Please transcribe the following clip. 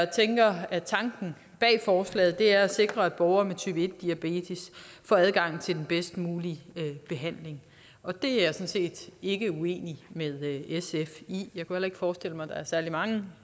tænker at tanken bag forslaget er at sikre at borgere med type en diabetes får adgang til den bedst mulige behandling og det er jeg sådan set ikke uenig med sf i jeg kunne heller ikke forestille mig at der er særlig mange